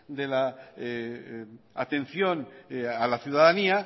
de la atención a la ciudadanía